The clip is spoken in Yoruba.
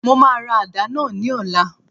Mo máa ra àdá náà ní ọ̀la